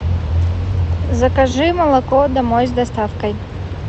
закажи молоко домой с доставкой